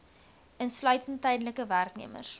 insluitende tydelike werknemers